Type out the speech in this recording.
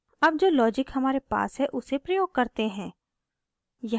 अब जो लॉजिक हमारे पास है उसे प्रयोग करते हैं